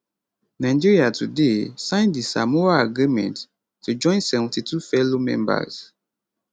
nigeria today sign di samoa agreement to join 72 fellow members